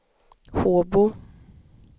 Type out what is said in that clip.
Håbo